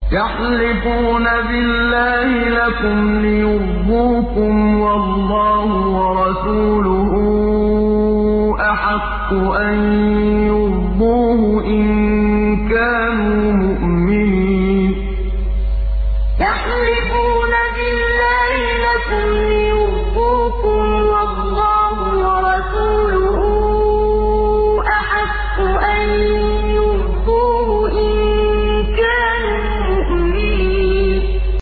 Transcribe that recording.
يَحْلِفُونَ بِاللَّهِ لَكُمْ لِيُرْضُوكُمْ وَاللَّهُ وَرَسُولُهُ أَحَقُّ أَن يُرْضُوهُ إِن كَانُوا مُؤْمِنِينَ يَحْلِفُونَ بِاللَّهِ لَكُمْ لِيُرْضُوكُمْ وَاللَّهُ وَرَسُولُهُ أَحَقُّ أَن يُرْضُوهُ إِن كَانُوا مُؤْمِنِينَ